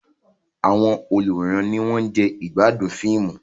Àwọn olùwòran ni wọ́n ń jẹ ìgbádùn fíìmù.